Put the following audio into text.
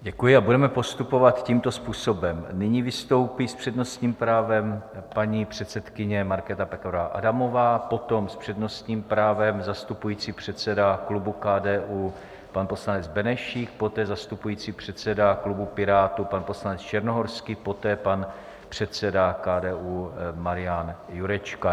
Děkuji a budeme postupovat tímto způsobem: Nyní vystoupí s přednostním právem paní předsedkyně Markéta Pekarová Adamová, potom s přednostním právem zastupující předseda klubu KDU pan poslanec Benešík, poté zastupující předseda klubu Pirátů pan poslanec Černohorský, poté pan předseda KDU Marian Jurečka.